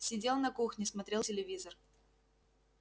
сидел на кухне смотрел телевизор